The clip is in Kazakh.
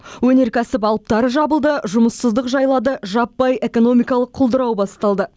өнеркәсіп алыптары жабылды жұмыссыздық жайлады жаппай экономикалық құлдырау басталды